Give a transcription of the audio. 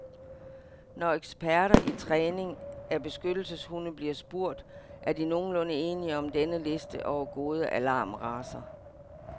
Når eksperter i træning af beskyttelseshunde bliver spurgt, er de nogenlunde enige om denne liste over gode alarmracer.